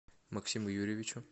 максиму юрьевичу